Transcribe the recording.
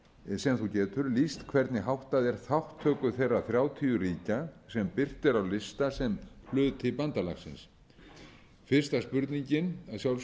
sem þú getur lýst hvernig háttað er þátttöku þeirra þrjátíu ríkja sem birt eru á lista sem hluti bandalagsins fyrsta spurningin að